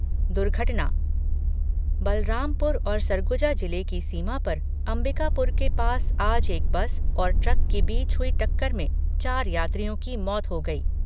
दुर्घटना बलरामपुर और सरगुजा जिले की सीमा पर अंबिकापुर के पास आज एक बस और ट्रक के बीच हुई टक्कर में चार यात्रियों की मौत हो गई।